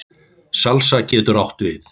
Salsa getur átt við